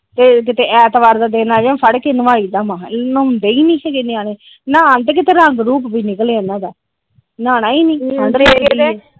ਫਿਰ ਕੀਤੇ ਐਤਵਾਰ ਦਾ ਦਿਨ ਆਜੇ ਫੜ੍ਹਕੇ ਨਵਾਈ ਦਾ ਮਸਾਂ ਨਾਹੋਂਦੇ ਈ ਨੀ ਹੈਗੇ ਨਿਆਣੇ ਨਹਾਣ ਤੇ ਕੀਤੇ ਰੰਗ ਰੁੰਗ ਨਿਕਲੇ ਇਹਨਾਂ ਦਾ ਨਹਾਣਾ ਈ ਠੰਡ ਲੱਗਦੀ ਇਹ।